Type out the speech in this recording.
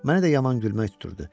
Mənə də yaman gülmək tuturdu.